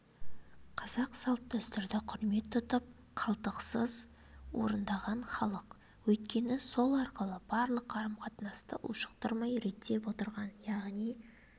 қазақ салт-дәстүрді құрмет тұтып қалтқысыз орындаған халық өйткені сол арқылы барлық қарым-қатынасты ушықтырмай реттеп отырған яғни